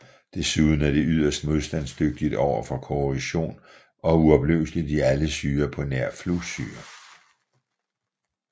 Desuden er det yderst modstandsdygtigt overfor korrosion og uopløseligt i alle syrer på nær flussyre